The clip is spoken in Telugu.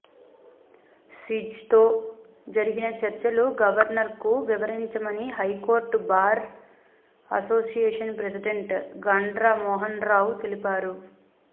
సిజెతో జరిగిన చర్చలు గవర్నర్కు వివరించమని high court bar association president Gandra Mohanrao తెలిపారు